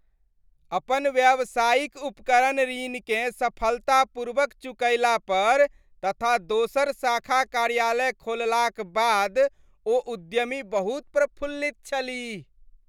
अपन व्यावसायिक उपकरण ऋणकेँ सफलतापूर्वक चुकयला पर तथा दोसर शाखा कार्यालय खोललाक बाद ओ उद्यमी बहुत प्रफुल्लित छलीह।